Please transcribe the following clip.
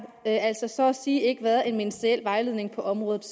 altså så at sige ikke siden været en ministeriel vejledning på området